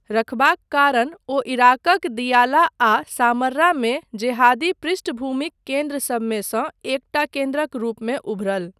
रखबाक कारण ओ इराकक दियाला आ सामर्रा मे जेहादी पृष्ठिभूमिक केन्द्रसभमे सँ एकटा केन्द्रक रूपमे उभरल।